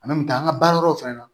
an ka baara yɔrɔw fɛnɛ na